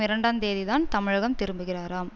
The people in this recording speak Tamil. இரண்டு தேதிதான் தமிழகம் திரும்புகிறாராம்